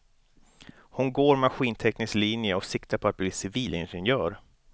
Hon går maskinteknisk linje och siktar på att bli civilingenjör.